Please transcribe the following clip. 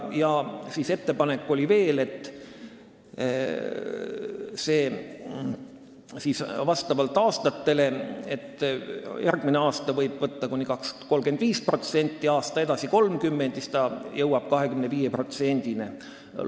Veel oli ettepanek, et see muutuks aastate jooksul, nii et järgmisel aastal oleks lubatav õppemaks kuni 35%, aasta edasi 30% ja siis jõuaks see 25%-ni.